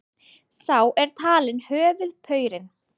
Sá er talinn höfuðpaurinn